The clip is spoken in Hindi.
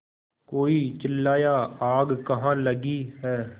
कोई चिल्लाया आग कहाँ लगी है